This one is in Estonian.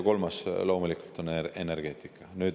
Kolmas on loomulikult energeetika.